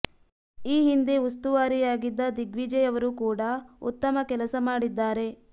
ಈ ಹಿಂದೆ ಉಸ್ತುವಾರಿಯಾಗಿದ್ದ ದಿಗ್ವಿಜಯ್ ಅವರು ಕೂಡ ಉತ್ತಮ ಕೆಲಸ ಮಾಡಿದ್ದಾರೆ